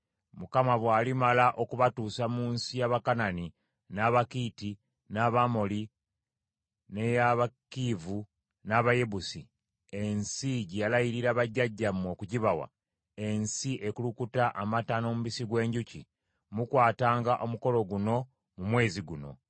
Mukama bw’alimala okubatuusa mu nsi y’Abakanani, n’Abakiiti, n’Abamoli; n’ey’Abakiivi, n’Abayebusi, ensi gye yalayirira bajjajjammwe okugibawa, ensi ekulukuta amata n’omubisi gw’enjuki, mukwatanga omukolo guno mu mwezi guno.